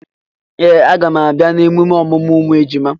Ee! A gam abịa na emume ọmụmụ ụmụ ejima.